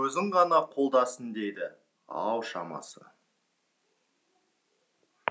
өзін ғана қолдасын дейді ау шамасы